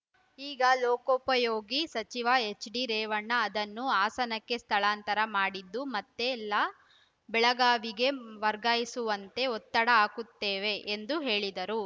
ಈಗ ಲೋಕೋಪಯೋಗಿ ಸಚಿವ ಎಚ್‌ಡಿರೇವಣ್ಣ ಅದನ್ನು ಹಾಸನಕ್ಕೆ ಸ್ಥಳಾಂತರ ಮಾಡಿದ್ದು ಮತ್ತೆ ಲ ಬೆಳಗಾವಿಗೆ ವರ್ಗಾಯಿಸುವಂತೆ ಒತ್ತಡ ಹಾಕುತ್ತೇವೆ ಎಂದು ಹೇಳಿದರು